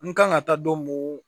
N kan ka taa don mun